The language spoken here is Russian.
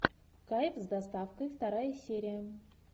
кайф с доставкой вторая серия